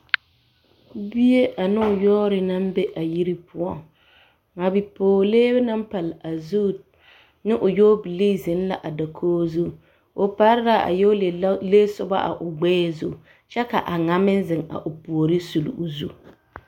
Bie ane o yɔɔre na be a yiri poɔ a bipɔɡelee na naŋ pale o zu ne o yɔɔlee zeŋ la a dakoɡi zu o pare la a yɔɔbilee a ɡbɛɛ zu kyɛ ka a ŋa meŋ zeŋ o ouoriŋ a suli o zu.